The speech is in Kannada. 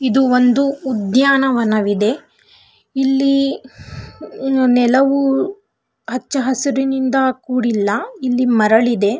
ಇದು ಒಂದು ಉದ್ಯಾನವನವಿದೆ ಇಲ್ಲಿ ನೆಲವು ಹಚ್ಚ ಹಸಿರಿನಿಂದ ಕುಡಿಲ್ಲ ಇಲ್ಲಿ ಮರಳಿದೆ .